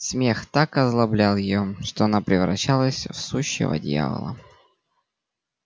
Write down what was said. смех так озлоблял её что она превращалась в сущего дьявола